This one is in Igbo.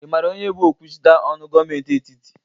Ị mara onye bụ okwuchita ọnụ gọmenti etiti?